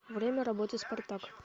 время работы спартак